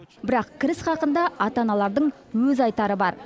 бірақ кіріс хақында ата аналардың өз айтары бар